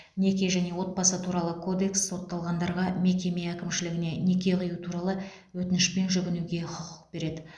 неке және отбасы туралы кодекс сотталғандарға мекеме әкімшілігіне неке қию туралы өтінішпен жүгінуге құқық береді